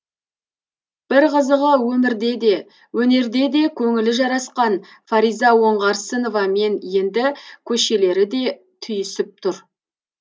бір қызығы өмірде де өнерде де көңілі жарасқан фариза оңғарсыновамен енді көшелері де түйісіп тұр